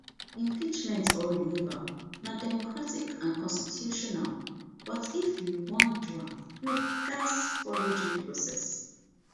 impeachment or removal na democratic and constitutional but if you wan do am you gatz follow due process